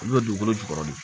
Olu bɛ dugukolo jukɔrɔ de